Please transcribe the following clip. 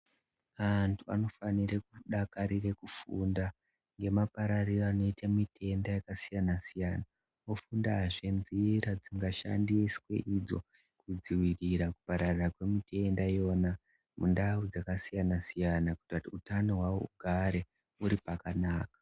Antu anofanire kudakarira kufunda ngemapararire anoite mitenda yakasiyana siyana, ofundazve nzira dzingashandiswe idzo kupararira kwemitenda iyona mundau dzakasiyana siyana kuita kuti utano hwawo hugare huri pakanaka.